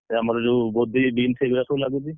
ଆଉ ଆମର ଯୋଉ କୋବି, ବିନ୍ସ୍ ଏଗୁଡା ସବୁ ଲାଗୁଛି।